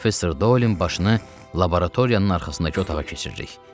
Professor Dolin başını laboratoriyanın arxasındakı otağa keçiririk.